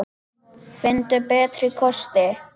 Finndu betri kosti!